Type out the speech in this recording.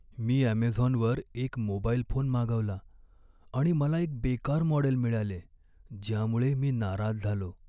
मी ॲमेझॉनवर एक mobile phone मागवला आणि मला एक बेकार मॉडेल मिळाले, ज्यामुळे मी नाराज झालो.